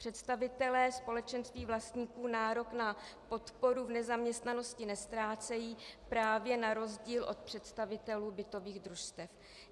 Představitelé společenství vlastníků nárok na podporu v nezaměstnanosti neztrácejí právě na rozdíl od představitelů bytových družstev.